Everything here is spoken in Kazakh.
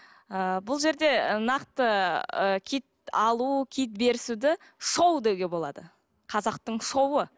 ы бұл жерде нақты ы киіт алу киіт берісуді шоу деуге болады қазақтың шоуы